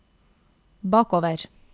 bakover